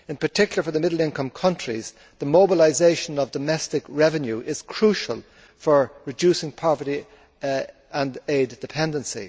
In particular for the middle income countries, the mobilisation of domestic revenue is crucial for reducing poverty and aid dependency.